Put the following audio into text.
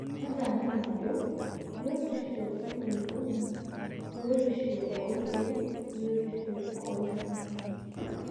Tadamu ajo; Biotisho enkulukuoni, biotisho oorkiek biotisho ooltung'ana.